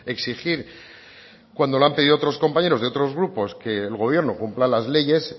exigir cuando lo han pedido otros compañeros de otros grupos que el gobierno cumpla las leyes